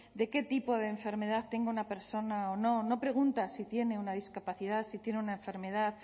de qué tipo de enfermedad tenga una persona o no no pregunta si tiene una discapacidad si tiene una enfermedad